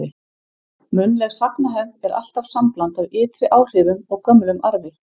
Munnleg sagnahefð er alltaf sambland af ytri áhrifum og gömlum arfi.